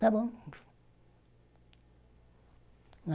Tá bom.